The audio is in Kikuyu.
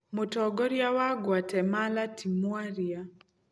Mũtongoria wa Guatemala ti mwaria.